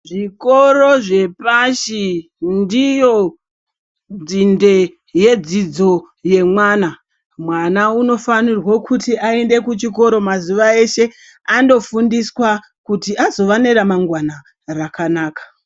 Zvikoro zvepashi ndiyo nzinde yedzidzo yemwana. Mwana unofanirwe kuti aende kuchikoro mazuva eshe andofundiswa kuti azova neramangwana rakanaka.